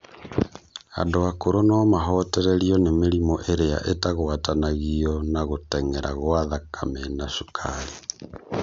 Andũ akũrũ no mahotererio nĩ mĩrimũ ĩrĩa ĩtagwatanagio na gũtengera gwa thakame na cukari